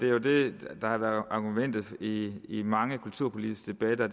jo det der har været argumentet i i mange kulturpolitiske debatter